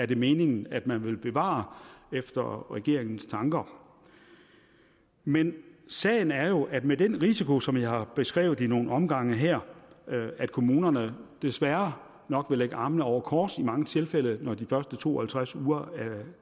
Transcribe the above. det meningen at man vil bevare efter regeringens tanker men sagen er jo at med den risiko som jeg har beskrevet i nogle omgange her at kommunerne desværre nok vil lægge armene over kors i mange tilfælde når de første to og halvtreds uger